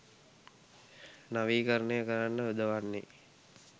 නවීකරණය කරන්න යොදවන්නේ